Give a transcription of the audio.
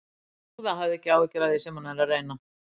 Góða, hafðu ekki áhyggjur af því sem hann er að reyna.